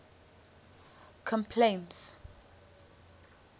complaints